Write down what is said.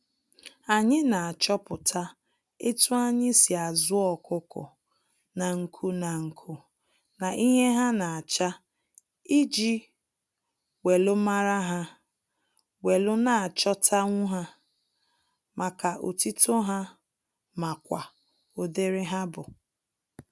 Anyi na-achọpụta etu anyi si azu ọkukọ nanku nanku na ihe ha na-acha iji welu mara ha, welu na-achọtanwu ha maka otito ha makwa udiri ha bu.